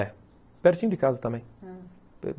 É. Pertinho de casa também, ah